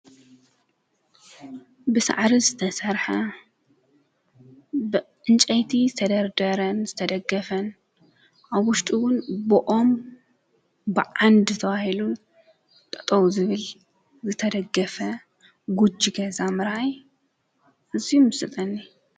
ብሠዕሪ ዝተሠርሐ ብእንጨይቲ ዝተደርደረን ዝተደገፈን ኣጕሽጡዉን ብኦም ብዓንድ ተዋሂሉን ጠጦው ዝብል ዘተደገፈ ጕጅገ ዛምራይ እዙይ ምስጠኒ።